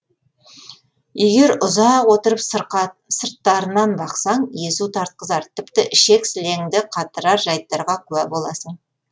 егер ұзақ отырып сырттарынан бақсаң езу тартқызар тіпті ішек сілеңді қатырар жайттарға куә боласың